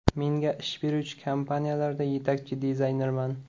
Menga ish beruvchi kompaniyalarda yetakchi dizaynerman.